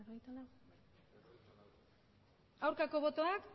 aurkako botoak